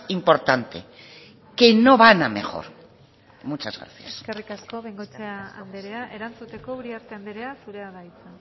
importante que no van a mejor muchas gracias eskerri asko bengoechea andrea erantzuteko uriarte andrea zurea da hitza